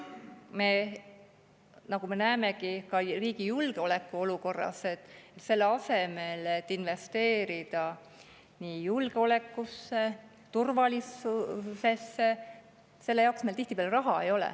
Nagu me näeme, ka riigi julgeolekuolukorras selle jaoks, et investeerida julgeolekusse, turvalisusesse, meil tihtipeale raha ei ole.